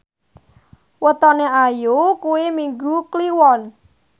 wetone Ayu kuwi Minggu Kliwon